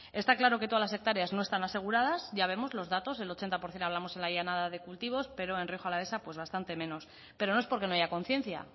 está claro que todas las hectáreas no están aseguradas ya vamos los datos el ochenta por ciento hablamos en la llanada de cultivos pero en rioja alavesa bastante menos pero no es porque no haya conciencia